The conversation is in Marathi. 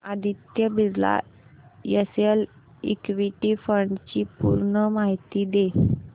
Aditya Birla SL equity fund D ची पूर्ण माहिती दे